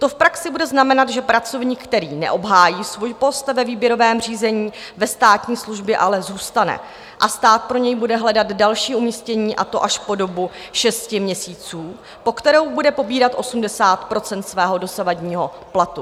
To v praxi bude znamenat, že pracovník, který neobhájí svůj post ve výběrovém řízení, ve státní službě ale zůstane a stát pro něj bude hledat další umístění, a to až po dobu šesti měsíců, po kterou bude pobírat 80 % svého dosavadního platu.